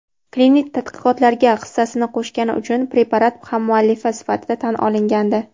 klinik tadqiqotlarga hissasini qo‘shgani uchun preparat hammuallifi sifatida tan olingandi.